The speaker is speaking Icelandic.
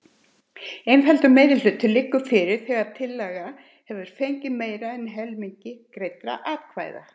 Einfaldur meirihluti liggur fyrir þegar tillaga hefur fengið meira en helming greiddra atkvæða.